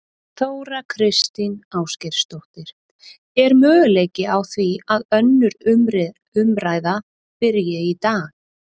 Þóra Kristín Ásgeirsdóttir: Er möguleiki á því að önnur umræða byrji í dag?